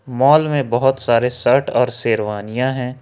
Mall में बहुत सारे शर्ट और शेरवानियां हैं।